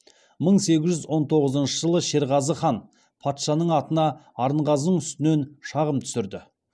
мың сегіз жүз он тоғызыншы жылы шерғазы хан патшаның атына арынғазының үстінен шағым түсірді